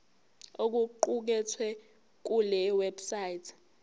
okuqukethwe kule website